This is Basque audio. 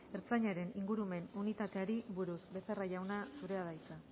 ertzaintzaren ingurumen unitateari buruz becerra jauna zurea da hitza